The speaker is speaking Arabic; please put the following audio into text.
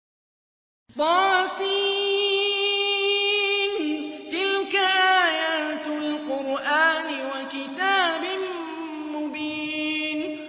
طس ۚ تِلْكَ آيَاتُ الْقُرْآنِ وَكِتَابٍ مُّبِينٍ